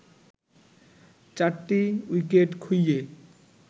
৪টি উইকেট খুইয়ে